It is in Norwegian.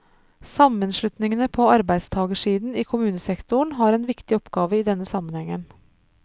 Sammenslutningene på arbeidstagersiden i kommunesektoren har en viktig oppgave i denne sammenhengen.